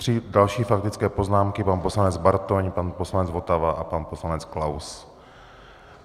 Tři další faktické poznámky, pan poslanec Bartoň, pan poslanec Votava a pan poslanec Klaus.